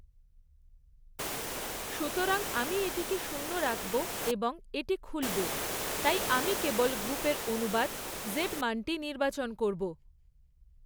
সুতরাং আমি এটিকে শূন্য রাখব এবং এটি খুলব তাই আমি কেবল গ্ৰুপের অনুবাদ জেড মানটি নির্বাচন করব।